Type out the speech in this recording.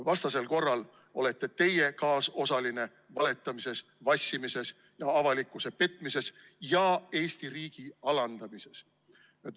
Vastasel korral olete teie kaasosaline valetamises, vassimises, avalikkuse petmises ja Eesti riigi alandamises.